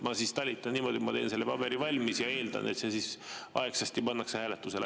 Ma siis talitan niimoodi, et teen selle paberi valmis ja eeldan, et see siis aegsasti pannakse hääletusele.